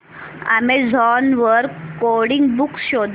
Amazon वर coding books शोधा